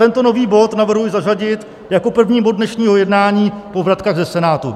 Tento nový bod navrhuji zařadit jako první bod dnešního jednání po vratkách ze Senátu.